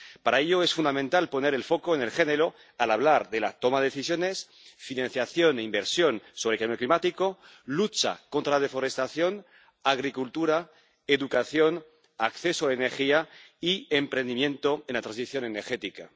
Para ello es fundamental poner el foco en el género al hablar de la toma de decisiones, financiación e inversión sobre cambio climático, lucha contra la deforestación, agricultura, educación, acceso a la energía y emprendimiento en la transición energética.